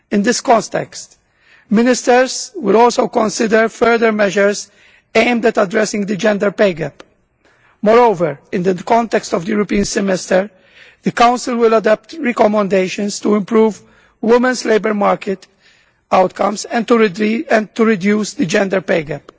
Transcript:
In this context, ministers will also consider further measures aimed at addressing the gender pay gap. Moreover, in the context of the European semester, the Council will adapt recommendations to improve women's labour market outcomes and to reduce the gender pay